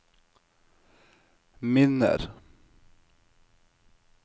minner